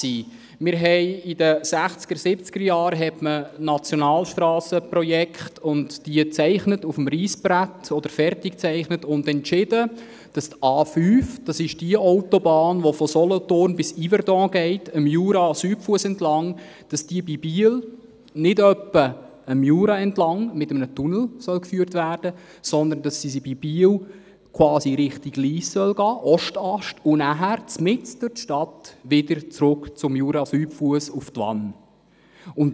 – In den 1960er- und 1970er-Jahren wurden Nationalstrassenprojekte auf dem Reissbrett gezeichnet, und dann entschied man, dass die A5, die entlang des Jurasüdfusses von Solothurn nach Yverdon führt, in Biel nicht etwa mit einem Tunnel dem Jura entlang geführt werden soll, sondern dass sie bei Biel in Richtung Lyss führen soll und dann mitten durch die Stadt wieder zurück zum Jurasüdfuss nach Twann.